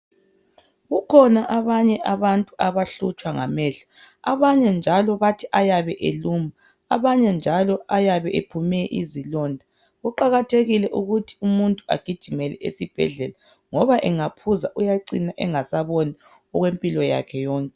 Kukhona abanye abantu abahlutshwa ngamehlo . Abanye njalo bathi ayabe eluma, abanye njalo ayabe ephume izilonda . Kuqakathekile ukuthi umuntu agijimele esibhedlela ngoba engaphuza uyacina engasaboni okwempilo yakhe yonke.